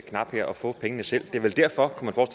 knap her og få pengene selv det er vel derfor kunne